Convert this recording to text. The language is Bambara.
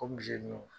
O muso